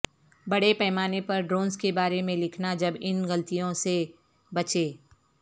بڑے پیمانے پر ڈونرز کے بارے میں لکھنا جب ان غلطیوں سے بچیں